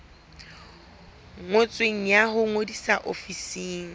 ngotsweng ya ho ngodisa ofising